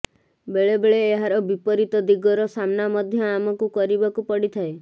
ବେଳେ ବେଳେ ଏହାର ବିପରୀତ ଦିଗର ସାମ୍ନା ମଧ୍ୟ ଆମକୁ କରିବାକୁ ପଡିଥାଏ